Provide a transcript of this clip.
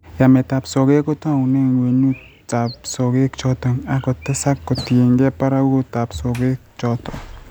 Yameet ap sogeek, kotoune ng'wenyut ap sogeek chotok, ak kotesak kotokyigei barakutap sogeek chotok.